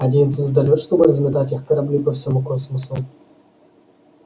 один звездолёт чтобы разметать их корабли по всему космосу